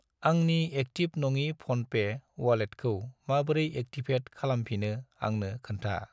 आंनि एक्टिभ नङि फ'नपे वालेटखौ माबोरै एक्टिभेट खालामफिनो आंनो खोन्था।